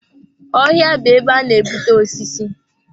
Ọhịa bụ ebe a na-ebute osisi.